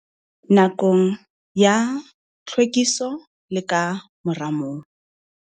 Nakong ya tlhwekiso le ka mora moo.